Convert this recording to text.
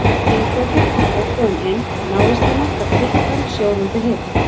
Ingveldur kom óboðin inn, návist hennar gat fyllt hann sjóðandi heift.